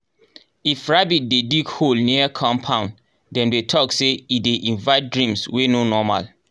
if rabbit dey dig hole near compound dem dey talk say e dey invite dreams wey no normal